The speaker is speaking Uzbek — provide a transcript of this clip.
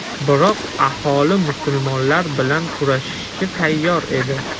Biroq aholi musulmonlar bilan kurashishga tayyor edi.